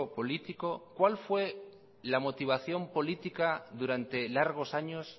político cuál fue la motivación política durante largos años